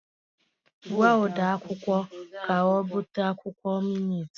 Gwa ode akwukwọ ka o bute akwụkwọ minit!